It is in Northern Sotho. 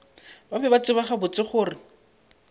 be ba tseba gabotse gore